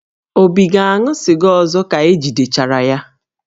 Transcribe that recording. Obi ga-aṅụ sịga ọzọ ka e jidechara ya?